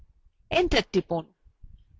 enter টিপুন